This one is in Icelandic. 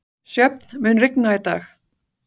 Sjöfn, mun rigna í dag?